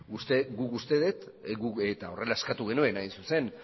guk uste dut eta horrela eskatu genuen hain zuzen